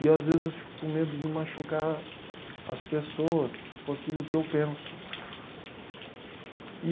E às vezes eu fico com medo de machucar as pessoas com aquilo que eu penso.